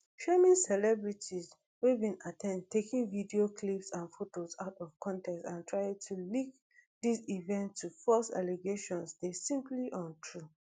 shaming celebrities wey bin at ten d taking video clips and photos out of context and trying to link dis events to false allegations dey simply untrue